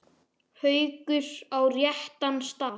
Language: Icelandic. Haukur: Á réttan stað?